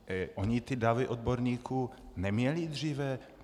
Oni ty davy odborníků neměli dříve?